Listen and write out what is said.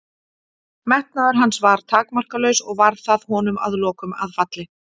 Metnaður hans var takmarkalaus og varð það honum að lokum að falli.